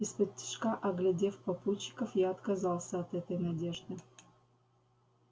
исподтишка оглядев попутчиков я отказался от этой надежды